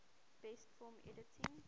best film editing